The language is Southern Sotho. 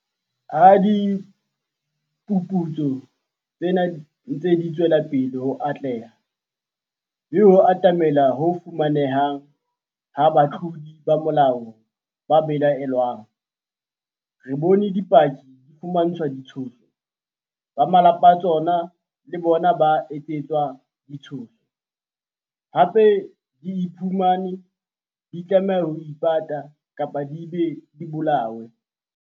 Ha diphuputso tsena di ntse di tswela pele ho atleha, mme ho atamelwa ho fumaneheng ha batlodi ba molao ba belaellwang, re bone dipaki di fumantshwa ditshoso, ba malapa a tsona le bona ba etsetswa ditshoso, hape di iphumane di tlameha ho ipata, kapa di be di bolawe.